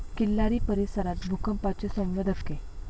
किल्लारी परिसरात भूकंपाचे सौम्य धक्के